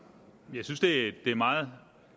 jeg synes det er meget